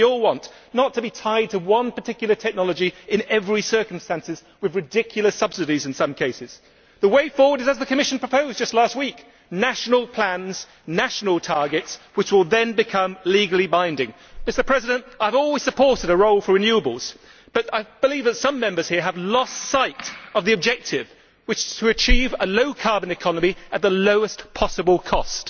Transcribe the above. We all want not to be tied to one particular technology in every circumstance, with ridiculous subsidies in some cases. The way forward is as the Commission proposed just last week national plans, national targets, which will then become legally binding. I have always supported a role for renewables, but I believe that some Members here have lost sight of the objective, which is to achieve a low carbon economy at the lowest possible cost.